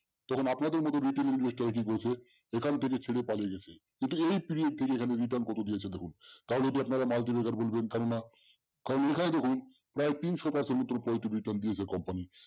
তখন আপনাদের মতো নতুন investor কি করেছে এখান থেকে ছেড়ে পালিয়ে গেছে কিন্তু এই presentation এ return কত দিয়েছে দেখুন। তাও যদি আপনারা multiplexer বলবেন কেন না কারন এখানে দেখুন প্রায় তিনশো মতো return দিয়েছে company